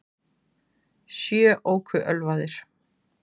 Sjö óku ölvaðir